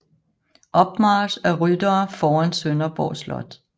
Opmarch af ryttere foran Sønderborg slot